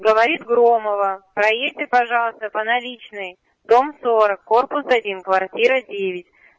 говорит громова проедьте пожалуйста по наличной дом сорок корпус один квартира девять